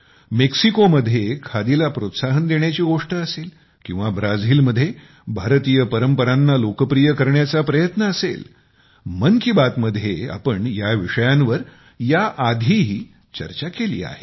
मेक्सिकोमध्ये खादीला प्रोत्साहन देण्याची गोष्ट असेल किंवा ब्राझीलमध्ये भारतीय परंपरांना लोकप्रिय बनवण्याचा प्रयत्न असेल मन की बात मध्ये आपण या विषयांवर याआधीही चर्चा केलेली आहे